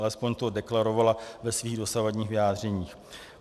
Alespoň to deklarovala ve svých dosavadních vyjádřeních.